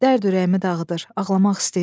Dərd ürəyimi dağıdır, ağlamaq istəyirəm.